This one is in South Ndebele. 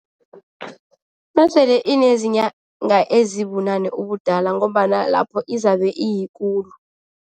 Nasele inezinyanga ezibunane ubudala ngombana lapho izabe iyikulu.